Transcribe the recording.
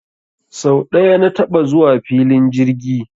Sau ɗaya na taɓa zuwa filin jirgi